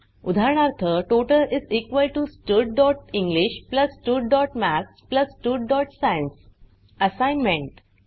उदाहरणार्थ total studenglish studमॅथ्स studसायन्स असाइनमेंट